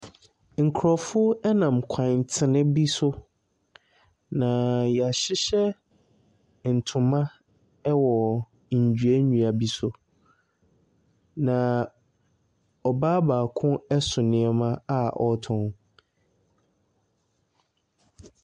Nkurɔfoɔ nam kwantene bi so. Na wɔahyehyɛ ntoma wɔ nnua nnua bi so, na ɔbaa baako so nneɛma a ɔretɔn.